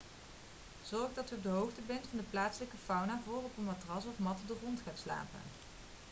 zorg dat u op de hoogte bent van de plaatselijke fauna voor u op een matras of mat op de grond gaat slapen